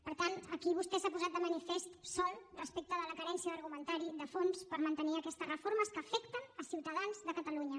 per tant aquí vostè s’ha posat de manifest sol respecte a la carència d’argumentari de fons per mantenir aquestes reformes que afecten ciutadans de catalunya